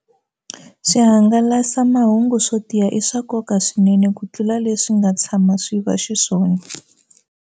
Swihangalasamahungu swo tiya i swa nkoka swinene kutlula leswi swi nga tshama swi va xiswona